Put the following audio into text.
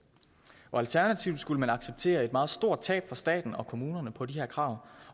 alternativt skulle man acceptere et meget stort tab for staten og kommunerne på de her krav